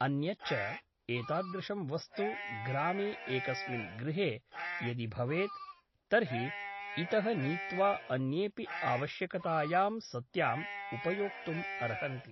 अन्यच्च एतादृशं वस्तु ग्रामे एकस्मिन् गृहे यदि भवेत् तर्हि इतः नीत्वा अन्येऽपि आवश्यकतायां सत्याम् उपयोक्तुम् अर्हन्ति ।